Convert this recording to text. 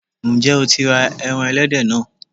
Ǹjẹ́ o tí ra ẹran ẹlẹ́dẹ̀ náà?